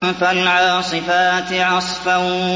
فَالْعَاصِفَاتِ عَصْفًا